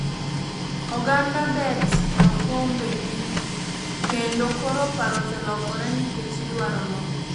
Oganda bet e kombe gi kendo koro paro oselokore nikech idwaro loch